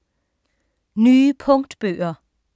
Nye punktbøger